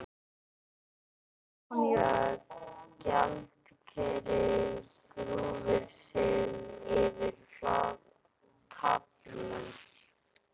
Stefanía gjaldkeri grúfir sig yfir taflmenn.